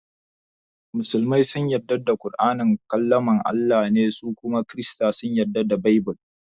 Musulmai sun yarda da ƙur'ani kalaman Allah ne su kuma kirista sun yarda da Baibill.